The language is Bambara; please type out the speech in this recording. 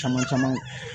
Caman caman